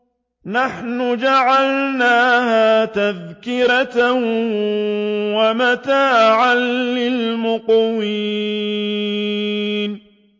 نَحْنُ جَعَلْنَاهَا تَذْكِرَةً وَمَتَاعًا لِّلْمُقْوِينَ